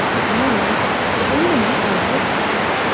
Mayli, deb indamay qo‘yaverdim.